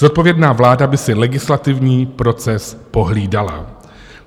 Zodpovědná vláda by si legislativní proces pohlídala.